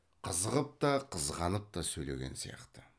қызығып та қызғанып та сөйлеген сияқты